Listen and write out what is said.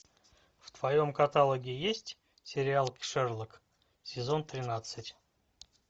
в твоем каталоге есть сериал шерлок сезон тринадцать